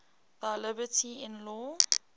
thy liberty in law